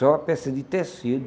Só peça de tecido.